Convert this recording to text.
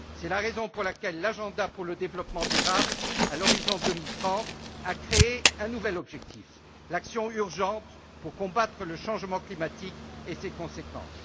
C'est la raison pour laquelle l'agenda pour le développement durable à l'horizon 2030 a créé un nouvel objectif l'action urgente pour combattre le changement climatique et ses conséquences.